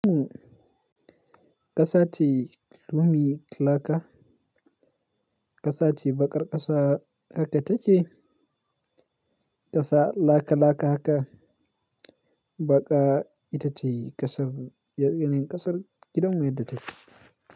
Uhm, ƙasa ce, loamy, laka. Ƙasa ce baƙar ƙasa haka take. Ƙasa laka laka haka, baƙa ita ce ƙasar, yanayin ƙasar gidan mu yadda take.